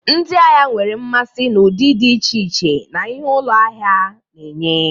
Ndị ahịa nwere mmasị na ụdị dị iche iche na ihe ụlọ ahịa na-enye.